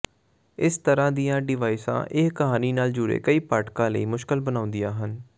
ਇਸ ਤਰਾਂ ਦੀਆਂ ਡਿਵਾਈਸਾਂ ਇਹ ਕਹਾਣੀ ਨਾਲ ਜੁੜੇ ਕਈ ਪਾਠਕਾਂ ਲਈ ਮੁਸ਼ਕਲ ਬਣਾਉਂਦੀਆਂ ਹਨ